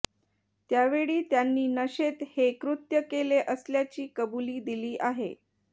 त्यावेळी त्यांनी नशेत हे कृत्य केले असल्याची कबुली दिली आहे